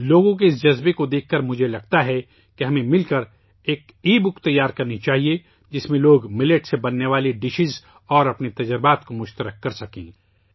لوگوں کے اس جوش و جذبے کو دیکھ کر میں سوچتا ہوں کہ ہمیں مل کر ایک ای بک تیار کرنی چاہیئے، جس میں لوگ موٹے اناج سے بننے والے کھانوں اور اپنے تجربات ساجھا کر سکیں